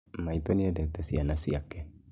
Maitũ nĩendete ciana ciake